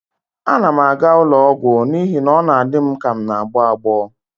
Ana m aga ụlọ ọgwụ n'ihi na ọ na-adị m ka m n'agbọ agbọ